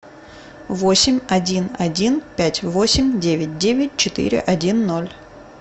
восемь один один пять восемь девять девять четыре один ноль